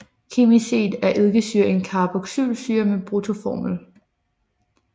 Kemisk set er eddikesyre en carboxylsyre med bruttoformel